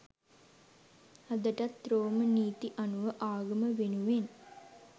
අදටත් රෝම නීති අනුව ආගම වෙනුවෙන්